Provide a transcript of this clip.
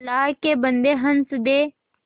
अल्लाह के बन्दे हंस दे